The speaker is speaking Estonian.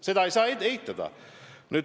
Seda ei saa eitada.